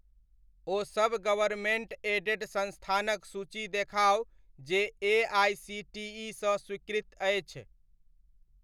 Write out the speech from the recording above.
ओ सब government aided संस्थानक सूचि देखाउ जे एआइसीटीइ सँ स्वीकृत अछि।